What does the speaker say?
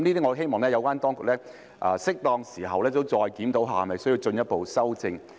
我希望有關當局會在適當時候再次檢討這些事宜，看看是否需要進一步修正。